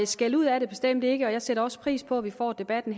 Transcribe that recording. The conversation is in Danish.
skældud er det bestemt ikke og jeg sætter også pris på at vi får debatten